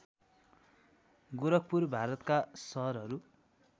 गोरखपुर भारतका सहरहरू